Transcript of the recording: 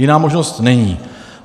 Jiná možnost není.